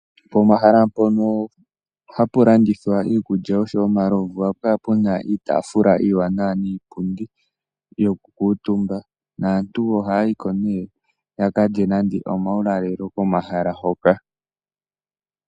Pomahala mpono hapulandithwa iikulya osho wo omalomvu ohapukala puna iitafula iwanawa niipundi yoku kutumba naantu ohayiko me yakalye nande omawulalelo komahala hoka.